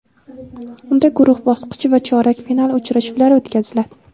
Unda guruh bosqichi va chorak final uchrashuvlari o‘tkaziladi.